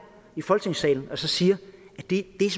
i folketingssalen og siger at det er